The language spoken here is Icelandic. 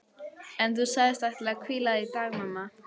En þú sagðist ætla að hvíla þig í dag mamma.